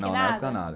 Não, na época nada.